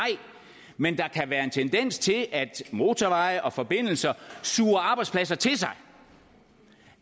men der kan være en tendens til at motorveje og forbindelser suger arbejdspladser til sig